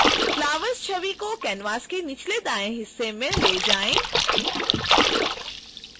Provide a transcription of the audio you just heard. flowers छवि को canvas के निचले दाएँ हिस्से में ले जाएं